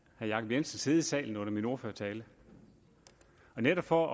jacob jensens sidde i salen under min ordførertale og netop for